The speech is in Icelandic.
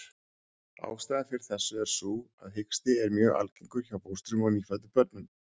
Ástæðan fyrir þessu er sú að hiksti er mjög algengur hjá fóstrum og nýfæddum börnum.